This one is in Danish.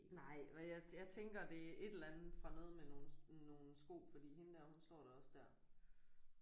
Nej og jeg jeg tænker det er et eller andet fra noget med nogle nogle sko fordi hende der hun står da også der